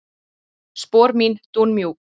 Spor mín dúnmjúk.